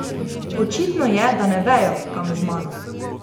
Očitno je, da ne vejo, kam z mano.